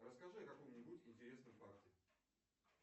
расскажи о каком нибудь интересном факте